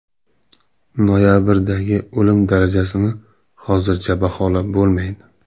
Noyabrdagi o‘lim darajasini hozircha baholab bo‘lmaydi.